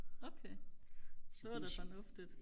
okay det var da fornuftigt